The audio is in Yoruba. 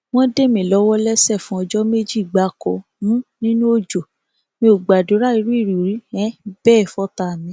wọn dè mí lọwọ lẹsẹ fún ọjọ méjì gbáko um nínú ọjọ mi ò gbàdúrà irú ìrírí um bẹẹ fọtàá mi